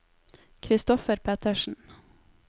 Christoffer Pettersen